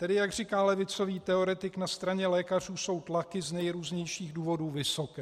Tedy jak říká levicový teoretik, na straně lékařů jsou tlaky z nejrůznějších důvodů vysoké.